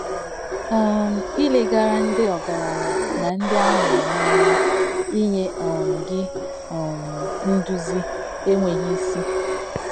um Ilegara ndị ọgaranya na ndị a ma ama anya inye um gị um nduzi enweghi isi